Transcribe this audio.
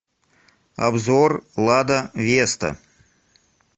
обзор лада веста